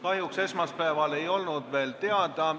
Kahjuks esmaspäeval ei olnud see veel teada.